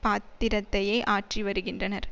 பாத்திரத்தையே ஆற்றி வருகின்றனர்